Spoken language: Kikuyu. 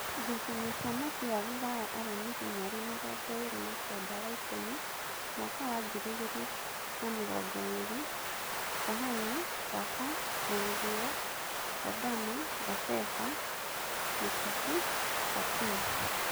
Ngucanio cia mũbira Ruraya aramithi mweri mĩrongoĩrĩ na-kenda wa ikũmi mwaka wa ngiri igĩrĩ na mĩrongoĩrĩ: Kahano, Laba, Murio, Lundama, Ngaveba, Mutafi, Patino